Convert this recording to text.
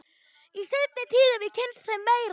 Í seinni tíð hef ég kynnst þeim meira.